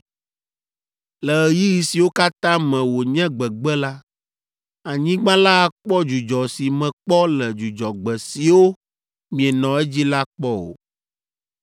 Le ɣeyiɣi siwo katã me wònye gbegbe la, anyigba la akpɔ dzudzɔ si mekpɔ le dzudzɔgbe siwo mienɔ edzi la kpɔ o.